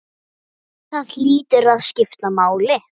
Það hlýtur að skipta máli?